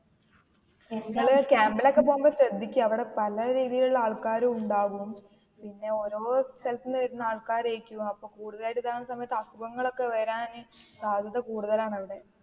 നിങ്ങള് camp ല്‍ ഒക്കെ പോകുമ്പോ ശ്രദ്ധിക്യ, അവിടെ പല രീതിയിൽ ഉള്ള ആള്ക്കാരും ഉണ്ടാകും. പിന്നെ ഓരോ സ്ഥലത്തു നിന്ന് വരുന്ന ആൾകാരായിരിക്കും അപ്പോൾ കുടുതലായിട്ട് ഉണ്ടാകുന്ന അസുഖങ്ങൾ ഒക്കെ വരാ ആയിട്ട് സാധ്യത കൂടുതലാ അവിടെ.